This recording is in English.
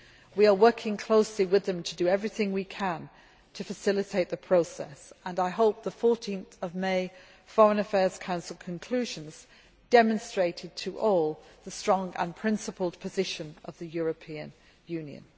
We are working closely with them to do everything we can to facilitate the process and I hope the 14 May Foreign Affairs Council conclusions demonstrated to all the strong and principled position of the European